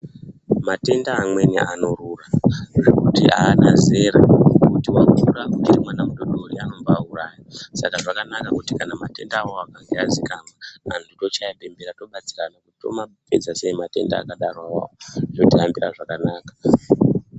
Matenda amweni anorura, zvokuti haana zera kuti wakura kana kuti mwana mudodori, anoba auraya, saka zvakanaka kuti kana matenda akadaro kana aziikanwa anhu tochaya bembera, tobatsirana kuti tomapedza sei matenda akadarowo, zvotihambira zvakanaka.